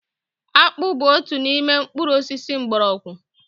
Akpu bu otu n'ime mkpuru osisi mgbọrọgwụ